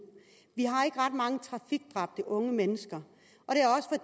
vi har ikke ret mange trafikdræbte unge mennesker